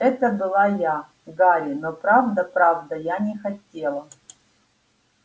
это была я гарри но правда правда я не хотела